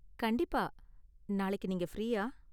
கண்டிப்பா, நாளைக்கு நீங்க ஃப்ரீயா?